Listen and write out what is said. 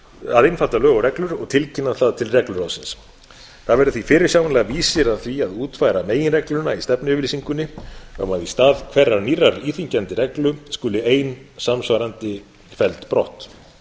að einfalda lög og reglur og tilkynna það til regluráðsins það verður því fyrirsjáanlega vísir að því að útfæra meginreglan í stefnuyfirlýsingunni um að í stað hverrar nýrrar íþyngjandi reglu skuli ein samsvarandi felld brott vegna þess að